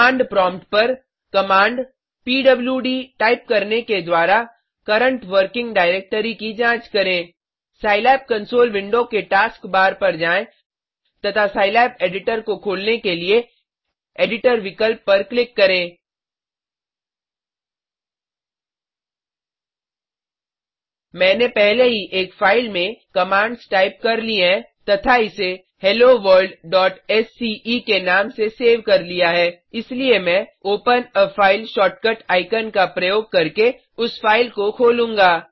command prompt पर command PWD type करने के द्वारा करंट वर्किंग डायरेक्टरी की जांच करें सिलाब कंसोल विंडो के टास्क बार पर जाएँ तथा सिलाब एडिटर को खोलने के लिए एडिटर विकल्प पर क्लिक करें मैंने पहले ही एक फाइल में कमांड्स टाइप कर ली हैं तथा इसे helloworldसीई के नाम से सेव कर लिया है इसलिए मैं open a file shortcut icon का प्रयोग करके उस फाइल को खोलूंगा